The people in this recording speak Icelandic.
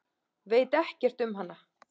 Veit ekkert um hana.